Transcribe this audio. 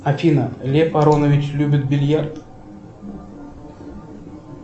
афина лев аронович любит бильярд